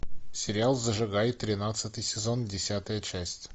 сериал зажигай тринадцатый сезон десятая часть